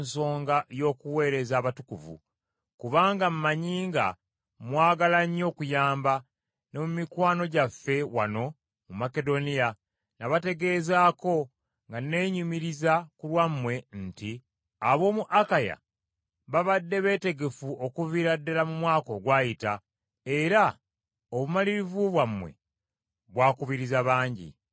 kubanga mmanyi nga bwe mwagala ennyo okuyamba, ne mikwano gyaffe wano mu Makedoniya nabategeezaako nga nnenyumiriza ku lwammwe nti ab’omu Akaya babadde beetegefu okuviira ddala mu mwaka ogwayita, era obumalirivu bwammwe bwakubiriza bangi.